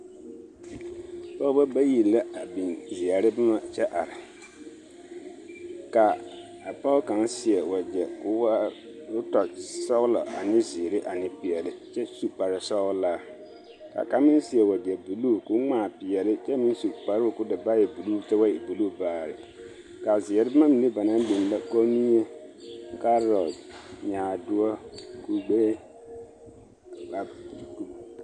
Pɔgebɔ bayi la a biŋ zeɛre boma kyɛ are ka a pɔge kaŋa seɛ wegyɛ k'o waa k'o tɔ sɔgelɔ ane zeere ane peɛle kyɛ su kpare sɔgelaa ka kaŋ meŋ seɛ wegyɛ buluu k'o ŋmaa peɛle kyɛ meŋ su kparoo k'o da boɔrɔ naa e buluu kyɛ ba e buluu baare, ka a zeɛre boma mine ba naŋ biŋ la kɔmmie, kaarɔte, nyaadoɔ, kugbe, a